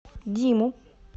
диму